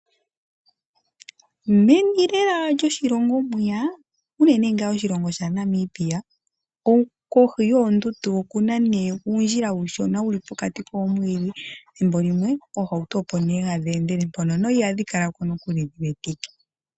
Meni lela lyoshilongo mwiya uunene ngaa moshilongo shaNamibia kohi yoondundu okuna nee uundjila uushona wuli pokati koomwiidhi ethimbo limwe oohauto opo nee hadhi endele mpono no ihadhi kala nokuli dhiwetike.